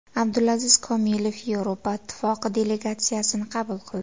Abdulaziz Komilov Yevropa Ittifoqi delegatsiyasini qabul qildi.